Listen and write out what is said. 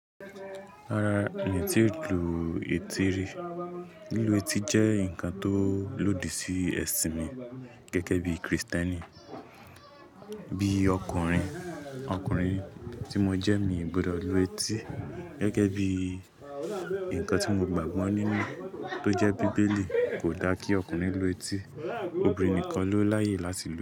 Rara, e tí ń lu etí rí, lílu etí jẹ́ nnkan tó lòdì sí ẹṣin mi gẹ́gẹ́ bí Kristẹni. Bí ọkùnrin, ọkùnrin tí mo jẹ́, mi ò gbọdọ̀ lu etí gẹ́gẹ́ bí ǹkan tí mo gbàgbọ́ nínú tó jẹ́ Bíbélì kò dá kí ọkùnrin lu etí, obìnrin nìkan ló láyè láti lu.